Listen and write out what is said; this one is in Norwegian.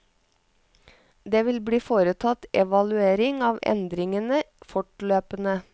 Det vil bli foretatt evaluering av endringene fortløpende.